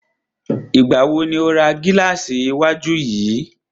Ìgbà wo ni o ra gílàsì iwájú yìí?